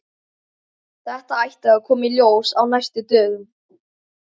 Þetta ætti að koma í ljós á næstu dögum.